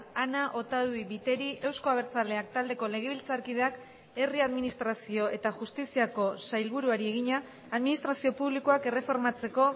ana otadui biteri euzko abertzaleak taldeko legebiltzarkideak herri administrazio eta justiziako sailburuari egina administrazio publikoak erreformatzeko